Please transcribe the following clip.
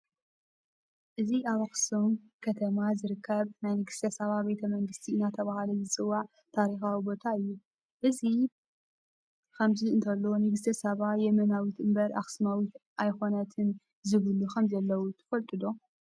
እዚ ኣብ ኣኽሱም ከተማ ዝርከብ ናይ ንግስተ ሳባ ቤተ መንግስቲ እናተባህለ ዝፅዋዕ ታሪካዊ ቦታ እዩ፡፡ እዚ ከምዚ እንተሎ ንግስተ ሳባ የመናዊት እምበር ኣኽሱማዉት ኣይኮነትን ዝብሉ ከምዘለዉ ትፈልጡ ዶ?